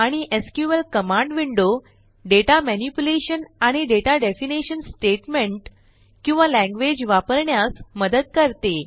आणि SQL command window data manipulation आणि data definition statement किंवा लँग्वेज वापरण्यास मदत करते